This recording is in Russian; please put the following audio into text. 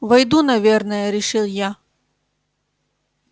войду наверное решил я